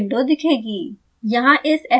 एक अन्य विंडो दिखेगी